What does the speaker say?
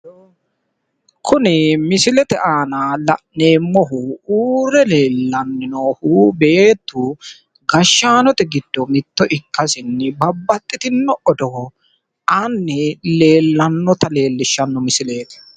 Kuni misilete aana la'neemmohu uurre leellanni noohu beettu gashshaanote giddonni mitto ikkasinni babbaxitinno odoo aanni leellanota leellishshanno misileeti.